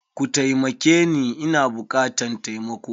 Kutaimakeni Ina bukatan taimako.